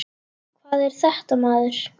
Hvað er þetta maður.